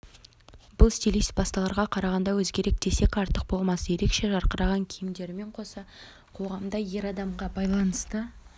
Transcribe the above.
бұл стилист басқаларға қарағанда өзгерек десек артық болмас ерекше жарқыраған киімдерімен қоса қоғамда ер адамға байланысты